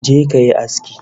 Je ka yi aski